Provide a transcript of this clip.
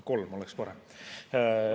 Kolm oleks parem.